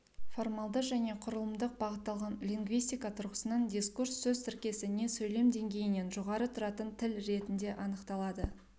формалды және құрылымдық бағытталған лингвистика тұрғысынан дискурс сөз тіркесі не сөйлем деңгейінен жоғары тұратынтіл ретінде анықталады